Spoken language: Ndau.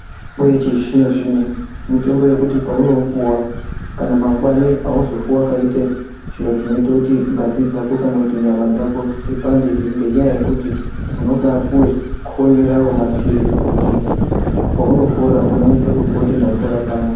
Mitombo yechizvino-zvino mitombo yekuti paunoipuva kana mangwani hauzofi vakaite zviro zvinote kuti ngazi dzako kana kuti nyama dzako dzipandehe. Ngenyaya yekuti unobapuve konyoravo maphirizi kuti paunopora unonyase kuzwa kuti ndapora panapa.